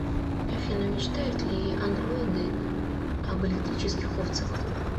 афина мечтают ли андроиды об электрических овцах